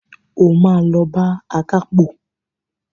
O máa lọ bá akápò.